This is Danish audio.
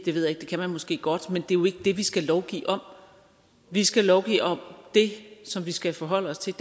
jeg ikke det kan man måske godt men det er jo ikke det vi skal lovgive om vi skal lovgive om det som vi skal forholde os til